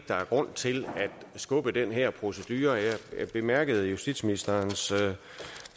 der er grund til at skubbe den her procedure jeg bemærkede at justitsministeren